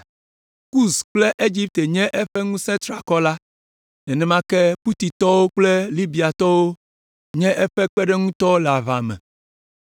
Kus kple Egipte nye eƒe ŋusẽ triakɔ la. Nenema ke Putitɔwo kple Libiatɔwo nye eƒe kpeɖeŋutɔwo le aʋa me,